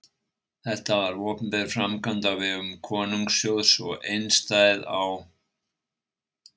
Þetta var opinber framkvæmd á vegum konungssjóðs og einstæð á